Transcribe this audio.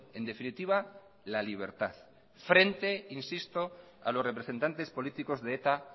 en definitiva la libertad frente a los representantes políticos de eta